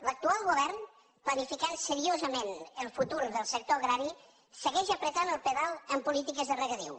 l’actual govern planificant seriosament el futur del sector agrari segueix prement el pedal en polítiques de regadiu